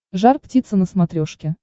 жар птица на смотрешке